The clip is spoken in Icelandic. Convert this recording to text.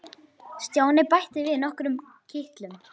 Stjáni bætti við nokkrum kitlum.